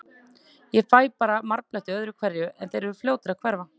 Ég fæ bara marbletti öðru hverju, en þeir eru fljótir að hverfa.